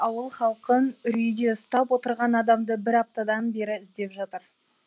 ауыл халқын үрейде ұстап отырған адамды бір аптадан бері іздеп жатыр